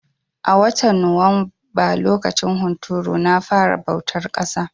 A watan Nuwamba lokacin hunturu na fara bautar ƙasa.